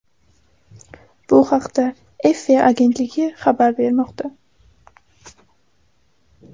Bu haqda EFE agentligi xabar bermoqda .